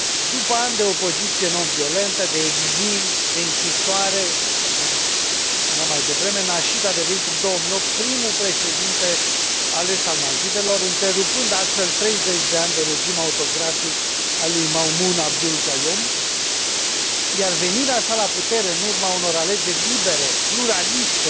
După ani de opoziție non violentă, de exil, de închisoare, așa cum spuneam mai devreme, Nasheed a devenit, în 2008, primul președinte ales al Maldivelor, întrerupând astfel treizeci de ani de regim autocratic ai lui Maumoon Abdul Gayoom, iar venirea sa la putere, în urma unor alegeri libere, pluraliste,